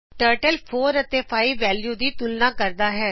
turtle value 4ਅਤੇ 5 ਦੀ ਤੁਲਨਾ ਕਰਦਾ ਹੈ